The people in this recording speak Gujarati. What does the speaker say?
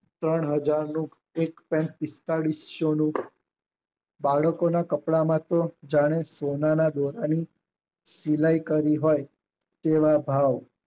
ત્રણ હાજર નું એક પોઇન્ટ પિસ્તાલીસ યુનિટ બાળકોના કપડાં માં જાણે સોનાના દોરાની ઝિલાય કરી હોય એવા ભાવ